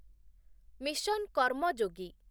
mission Karmayogi